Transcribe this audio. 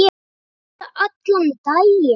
Siturðu allan daginn?